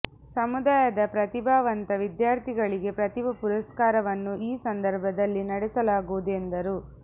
ಸಮುದಾಯದ ಪ್ರತಿಭಾವಂತ ವಿದ್ಯಾರ್ಥಿಗಳಿಗೆ ಪ್ರತಿಭಾ ಪುರಸ್ಕಾರವನ್ನು ಈ ಸಂದರ್ಭದಲ್ಲಿ ನಡೆಸಲಾಗುವುದು ಎಂದರು